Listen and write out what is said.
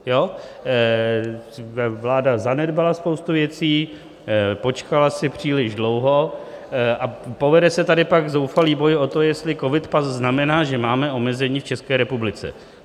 Vláda zanedbala spoustu věcí, počkala si příliš dlouho a povede se tady pak zoufalý boj o to, jestli covidpas znamená, že máme omezení v České republice.